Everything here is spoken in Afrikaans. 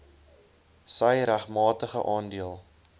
sy regmatige aandeel